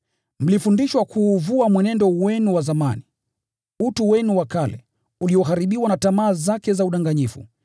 Mlifundishwa kuuvua mwenendo wenu wa zamani, utu wenu wa kale, ulioharibiwa na tamaa zake za udanganyifu,